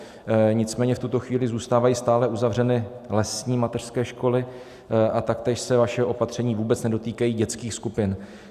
Nicméně v tuto chvíli zůstávají stále uzavřeny lesní mateřské školy a taktéž se vaše opatření vůbec nedotýkají dětských skupin.